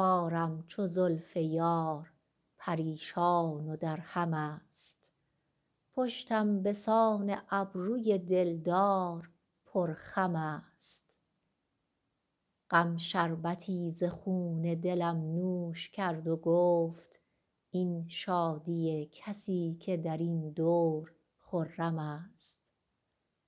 کارم چو زلف یار پریشان و درهم است پشتم به سان ابروی دل دار پرخم است غم شربتی ز خون دلم نوش کرد و گفت این شادی کسی که در این دور خرم است